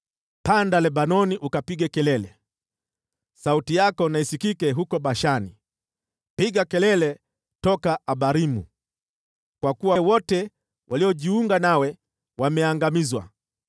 “Panda Lebanoni ukapige kelele, sauti yako na isikike huko Bashani, piga kelele toka Abarimu, kwa kuwa wote waliojiunga nawe wameangamizwa.